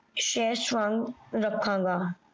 ਸ਼ੇਹ੍ਸ ਵਾਂਗ ਰਖਣ ਗਾ